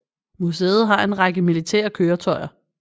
Museet har en række militære køretøjer